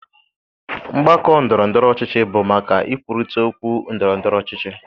Mgbakọ ndọrọ ndọrọ ọchịchị bụ maka ikwurịta okwu ndọrọ ndọrọ ọchịchị.